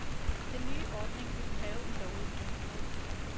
Den nye ordning vil kræve en lovændring. punktum